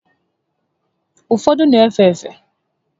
Ụfọdụ n'efe efe